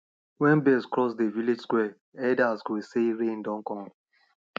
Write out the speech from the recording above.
wen birds cross dey village square elders go say rain don come